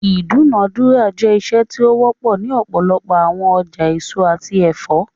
Idunadura jẹ iṣe ti o wọpọ ni ọpọlọpọ awọn ọja eso ati ẹfọ